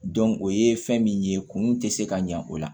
o ye fɛn min ye kunun tɛ se ka ɲɛ o la